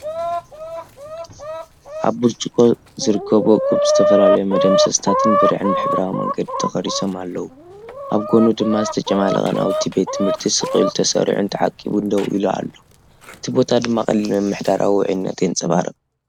ኣብ ብርጭቆ ዝርከብ እኩብ ዝተፈላለዩ መደምሰሳትን ብርዕን ብሕብራዊ መንገዲ ተቐሪጾም ኣለዉ። ኣብ ጎድኑ ድማ ዝተጨማለቐ ናውቲ ቤት ትምህርቲ ስቕ ኢሉ ተሰሪዑን ተዓቂቡን ደው ኢሉ ኣሎ፣ እቲ ቦታ ድማ ቀሊል ምምሕዳራዊ ውዑይነት የንጸባርቕ።